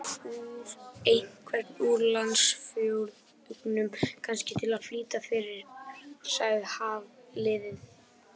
Einhvern úr landsfjórðungnum, kannski, til að flýta fyrir- sagði Hafliði.